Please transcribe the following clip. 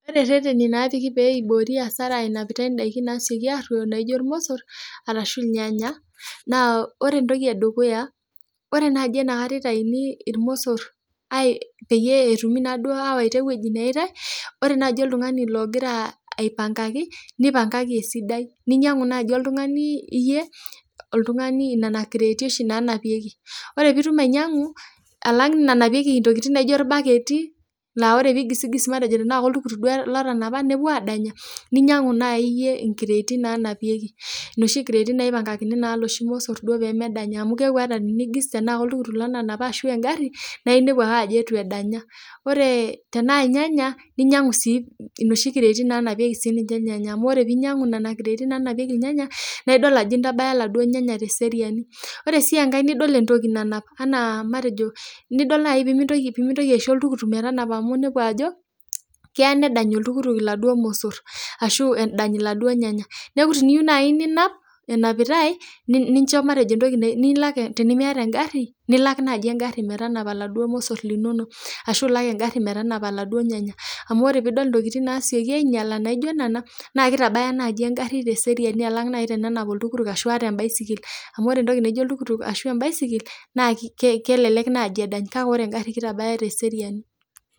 Pre rreteni naapiki pee eiboori asara enapitai indaki nasioki aaroyo naijo imosorr arashu ilnyanya, naa ore entoki edukuya, ore naaji inakata eitaini ilmosor peyie etumi naduo awata eweji neatae, ore naji oltungani logira apiangaki, neipangaki esidai, ninyangu naaji oltungani iyie, oltungani nena inkireeti oshi nanapieki, ore pitum ainyangu alang nenapieki ntokitin naijo ilbaketi naa ore itii ilgisi anaa matejo iltuktuk duo lotanapa nepuo aadanya, ninyang'u naii iyie inkireeti nanapieki, noshi nkireeti naipangakini naa noshi ilmosor duo pemedanya amu keaku olgisi teneaku oltuktuk lotanapa ashu engari naa iniepu ake ajo eitu edanya. Ore tenaa ilnyanya ninyangu sii noshi nkireeti naanapieki si ninche ilnyanya amu ore piinyangu nena nkireeti naanapieki ilnyanya naa idol ajo intabaya laduo ilnyanya te seriani. Ore sii enkae nidol entoki nanap anaa matejo, nidop naii piimintoki aisho oltuktuk metanapa amu nidol ajo keya nedany oltuktuk enaduo ilmosor ashu edany laduo ilnyanya, neaku teneyeu naii ninap, enapitae nincho matejo entoki nilak tenimieta engari, nilak naaji engari metanapa eladuo ilmosor linono ashu ilak engari metanapa eladuo ilnyanya, amu ore piidol ntokitin naasieki ainyala naijo nena naa keitabaya naaji engari te seriani alang tenenap oltuktuk ashu te imbaisikil, amu ore entoki naijo oltuktuk ashu embaisikil naa kelelek naa kedany, ore engari naa keitabaya te seriani.